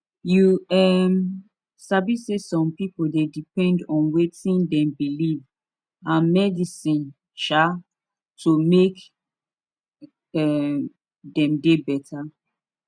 you um sabi saysome pipu dey depend on wetin dem believe and medicine um to make um dem dey beta